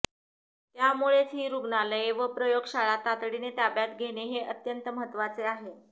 त्यामुळेच ही रुग्णालये व प्रयोगशाळा तातडीने ताब्यात घेणे हे अत्यंत महत्वाचे आहे